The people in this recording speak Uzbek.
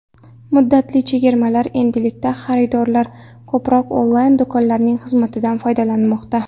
Muddatli chegirmalar Endilikda xaridorlar ko‘proq onlayn-do‘konlarning xizmatidan foydalanmoqda.